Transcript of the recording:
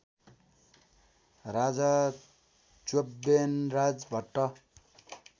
Raja Chyavanraj Bhatt